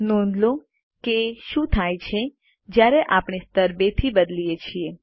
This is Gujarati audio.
નોંધ લો કે શું થાય છે જયારે આપણે સ્તર 2 થી બદલીએ છીએ